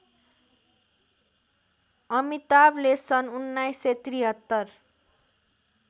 अमिताभले सन् १९७३